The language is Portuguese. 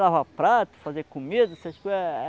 Lavar prato, fazer comida, essas coisas.